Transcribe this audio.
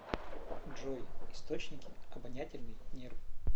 джой источники обонятельный нерв